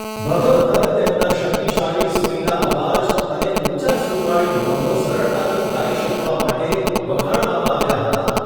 ભગવથર તેમના શક્તિશાળી, સુરીલા અવાજ અને ઊંચા સૂરવાળી નોંધો સરળતાથી ગાય શકવા માટે વખાણવામાં આવ્યા હતા.